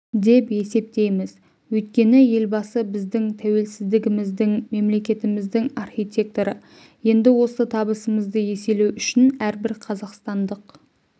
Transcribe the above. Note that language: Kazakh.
деп есептейміз өйткені елбасы біздің тәуелсіздігіміздің мемлекетіміздің архитекторы енді осы табысымызды еселеу үшін әрбір қазақстандық